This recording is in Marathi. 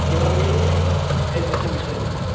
तेव्हा मी याचा विचार केलेला,